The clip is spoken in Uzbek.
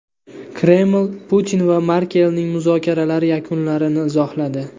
Kreml Putin va Merkelning muzokaralari yakunlarini izohladi.